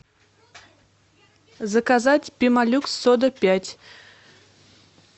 заказать пемо люкс сода пять